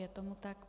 Je tomu tak.